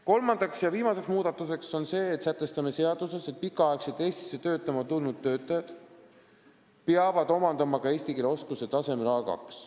Kolmas ja viimane muudatus on see: me sätestame seaduses, et pikaks ajaks Eestisse töötama tulnud töötajad peavad omandama ka eesti keele oskuse tasemel A2.